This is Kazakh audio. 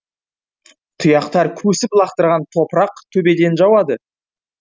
тұяқтар көсіп лақтырған топырақ төбеден жауады